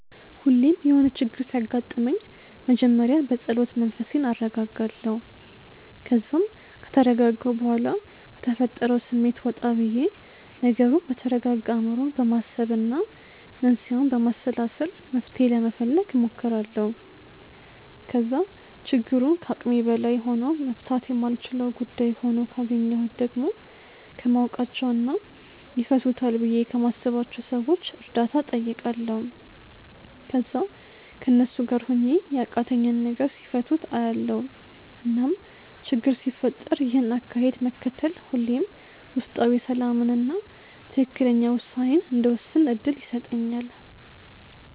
ሁሌም የሆነ ችግር ሲያጋጥመኝ መጀመሪያ በጸሎት መንፈሴን አረጋጋለሁ። ከዛም ከተረጋጋሁ በኋላ ከተፈጠረው ስሜት ወጣ ብዬ ነገሩን በተረጋጋ አእምሮ በማሰብና መንስኤውን በማሰላሰል መፍትሔ ለመፈለግ እሞክራለሁ። ከዛ ችግሩ ከአቅሜ በላይ ሆኖ መፍታት የማልችለው ጉዳይ ሆኖ ካገኘሁት ደግሞ ከማውቃቸውና ይፈቱታል ብዬ ከማስባቸው ሰዎች እርዳታ እጠይቃለሁ። ከዛ ከነሱ ጋር ሆኜ ያቃተኝን ነገር ሲፈቱት አያለሁ። እናም ችግር ሲፈጠር ይህን አካሄድ መከተል ሁሌም ውስጣዊ ሰላምንና ትክክለኛ ውሳኔን እንድወስን እድል ይሰጠኛል።